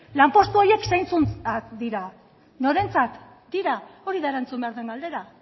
lanpostu horiek zeintzuntzat dira norentzat dira hori da erantzun behar den galdera